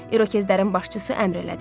İrokezlərin başçısı əmr elədi.